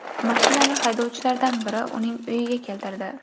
Mashinani haydovchilardan biri uning uyiga keltirdi.